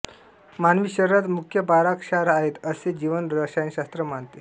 मानवी शरीरांत मुख्य बारा क्षार आहेत असें जीवनरसायनशास्त्र मानतें